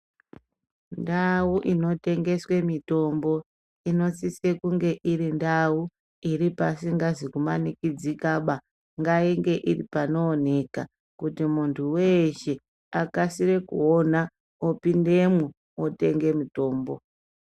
Ndau inotengeswa mitombo inosise kunge iri ndau iri pasizi kumanikidzika ba ngaite panooneka kuti muntu weshe akasire kuona opindemwo otenge mitombo.